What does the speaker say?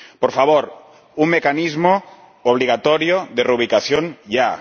Por favor, un mecanismo obligatorio de reubicación ya.